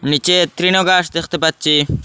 নীচে তৃণ ঘাস দেখতে পাচ্ছি।